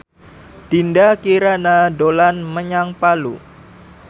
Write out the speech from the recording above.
Dinda Kirana dolan menyang Palu